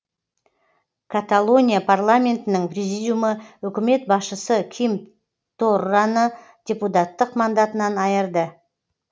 каталония парламентінің президиумы үкімет басшысы ким торраны депутаттық мандатынан айырды